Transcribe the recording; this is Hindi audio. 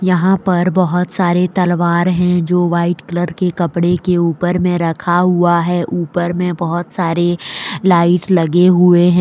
यहां पर बहुत सारे तलवार है जो वाइट कलर के कपडे के ऊपर में रखा हुआ है ऊपर में बहुत सारे लाइट् लगे हुए है।